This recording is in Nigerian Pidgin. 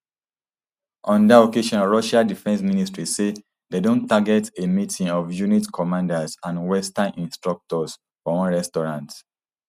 on dat occasion russia defence ministry say dem don target a meeting of unit commanders and western instructors for one restaurant